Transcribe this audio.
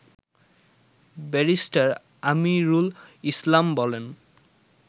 barrister Amirul Islam বলেন